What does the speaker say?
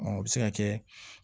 Ɔ o bɛ se ka kɛ